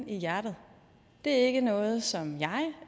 i hjertet det er ikke noget som jeg